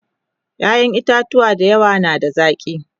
ƴaƴan itatuwa da yawa na da zaki